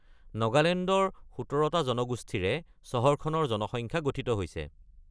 নগালেণ্ডৰ ১৭টা জনগোষ্ঠীৰে চহৰখনৰ জনসংখ্যা গঠিত হৈছে।